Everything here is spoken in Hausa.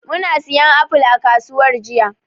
Muna siyan apple a kasuwar jiya.